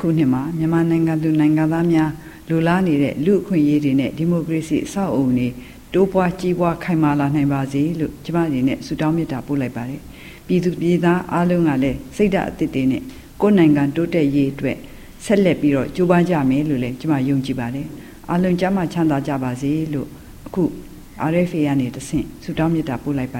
ခုနှစ်မှာ မြန်မာနိုင်ငံသူ နိုင်ငံသား အားလုံး လိုလားနေတဲ့ လူ့အခွင့်အရေးတွေနဲ့ ဒီမိုကရေစီ အဆောက်အအုံတွေ တိုးပွား၊ ကြီးပွား ခိုင်မာလာနိုင်ပါစေလို့ ကျမ အနေနဲ့ ဆုတောင်း မေတ္တာပို့လိုက်ပါတယ်။ ပြည်သူပြည်သား အားလုံးကလည်း စိတ်ဓာတ်အသစ်တွေနဲ့ ကိုယ့်နိုင်ငံ တိုးတက်ရေးအတွက် ဆက်လက်ပြီးတော့ ကြိုးပမ်းကြမယ်လို့လည်း ကျမ ယုံကြည်ပါတယ်။ အားလုံး ကျန်းမာ ချမ်းသာကြပါစေလို့ အခု အာအက်ဖ်အေ ကနေ တဆင့် ဆုတောင်းမေတ္တာ ပို့လိုက်ပါ